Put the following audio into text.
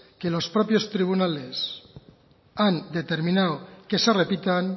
que los propios tribunales han determinado que se repitan